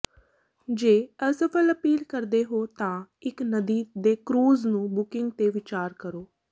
ਜੇ ਅਸਫਲ ਅਪੀਲ ਕਰਦੇ ਹੋ ਤਾਂ ਇਕ ਨਦੀ ਦੇ ਕਰੂਜ਼ ਨੂੰ ਬੁਕਿੰਗ ਤੇ ਵਿਚਾਰ ਕਰੋ